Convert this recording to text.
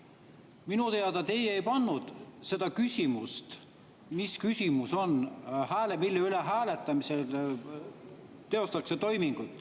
Minu teada teie ei seda küsimust, mille üle hääletamistoimingut teostatakse.